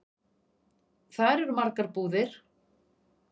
Þar eru margar búðir.